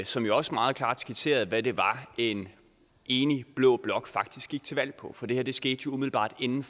som jo også meget klart skitserede hvad det var en enig blå blok faktisk gik til valg på for det her skete umiddelbart inden